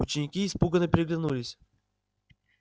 ученики испуганно переглянулись